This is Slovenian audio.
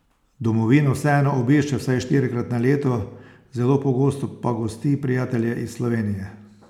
Domovino vseeno obišče vsaj štirikrat na leto, zelo pogosto pa gosti prijatelje iz Slovenije.